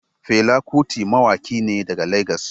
Fela Kuti mawaki ne daga Legas.